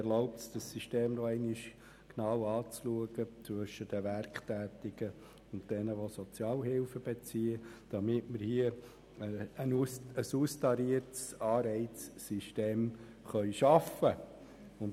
Er erlaubt es, das System zwischen den Werktätigen und den Sozialhilfebeziehenden noch einmal genau anzuschauen, damit wir hier ein austariertes Anreizsystem schaffen können.